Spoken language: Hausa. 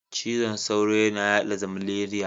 Cizon sauro yana yaɗa zmaleriya.